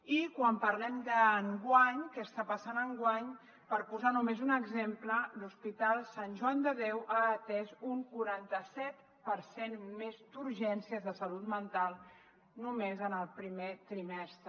i quan parlem d’enguany de què està passant enguany per posar només un exemple l’hospital sant joan de déu ha atès un quaranta set per cent més d’urgències de salut mental només en el primer trimestre